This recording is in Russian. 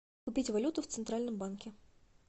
купить валюту в центральном банке